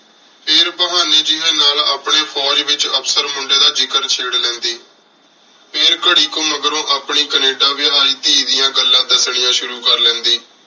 ਫੇਰ ਬਹਾਨੀ ਨਾਲ ਜੇਵੇਨ ਨਾਲ ਅਪਨੀ ਫੋਜ ਨਾਲ ਅਫਸਰ ਮੁੰਡੀ ਦਾ ਜ਼ਿਕਰ ਛੇਰ ਲੇੰਡਿ ਫੇਰ ਕਰ੍ਰੀ ਕੁ ਮਗਰੋਂ ਆਪਣੀ ਕੈਨੇਡਾ ਵੇਹੈ ਧੀ ਡਿਯਨ ਗੱਲਾਂ ਦਾਸਣੀਆਂ ਸ਼ੁਰੂ ਕਰ ਦੇਂਦੀ